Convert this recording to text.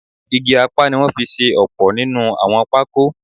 Igi apá ni wọ́n fi ṣe ọ̀pọ̀ nínú àwọn pákó